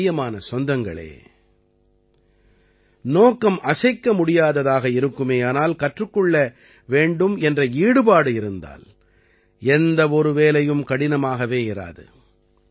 எனக்குப் பிரியமான சொந்தங்களே நோக்கம் அசைக்கமுடியாததாக இருக்குமேயானால் கற்றுக் கொள்ள வேண்டும் என்ற ஈடுபாடு இருந்தால் எந்த ஒரு வேலையும் கடினமாகவே இராது